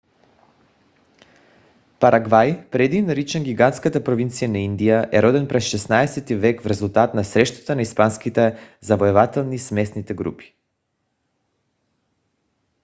парагвай преди наричан гигантската провинция на индия е роден през 16-ти век в резултат на срещата на испанските завоеватели с местните групи